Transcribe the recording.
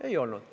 Ei olnud.